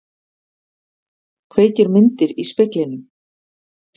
Kveikir myndir í speglinum.